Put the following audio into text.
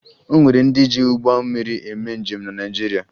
O nwere ndị ji ụgbọ mmiri eme njem na Naịjirịa